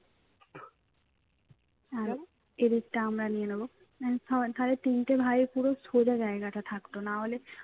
আর এদিকটা আমরা আমরা নিয়ে নেব মানে ধারে তিনটে ভাইয়ের পুরো সোজা জায়গাটা থাকতো না হলে